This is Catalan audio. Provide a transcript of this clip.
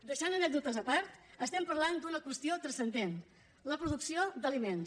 deixant anècdotes a part estem parlant d’una qüestió transcendent la producció d’aliments